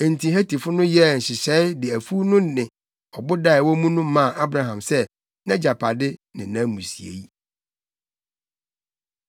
Enti Hetifo no yɛɛ nhyehyɛe de afuw no ne ɔboda a ɛwɔ mu no maa Abraham sɛ nʼagyapade ne nʼamusiei.